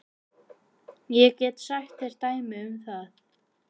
Ég get sagt þér dæmi um það.